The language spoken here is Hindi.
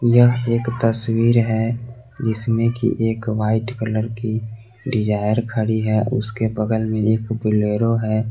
यह एक तस्वीर है जिसमें कि एक वाइट कलर की डिजायर खड़ी है उसके बगल में एक बोलेरो है।